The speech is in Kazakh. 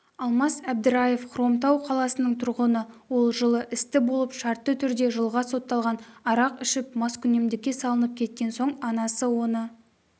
алмас әбдіраев хромтау қаласының тұрғыны ол жылы істі болып шартты түрде жылға сотталған арақ ішіп маскүнемдікке салынып кеткен соң анасы оны